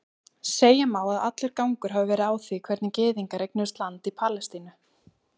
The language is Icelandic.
Segja má að allur gangur hafi verið á því hvernig gyðingar eignuðust land í Palestínu.